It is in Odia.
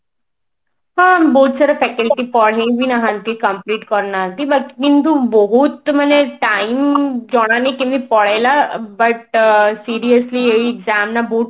ହଁ ବହୁତ ସାରା faculty ପଢେଇ ବି ନାହାନ୍ତି complete କରିନାହାନ୍ତି but କିନ୍ତୁ ବହୁତ ମାନେ time ଜଣା ନାଇଁ କେମିତି ପଳେଇଲା but seriously ଏଇ exam ନା ବହୁତ